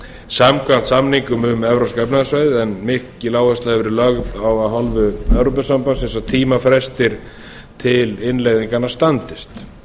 samkvæmt samningnum um evrópska efnahagssvæðið en mikil áhersla hefur verið lögð á af hálfu evrópusambandsins að tímafrestir til innleiðinganna standist